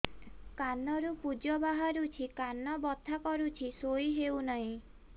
କାନ ରୁ ପୂଜ ବାହାରୁଛି କାନ ବଥା କରୁଛି ଶୋଇ ହେଉନାହିଁ